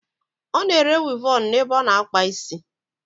Ona ere Wivọnụ n'ebe o na-akpa isi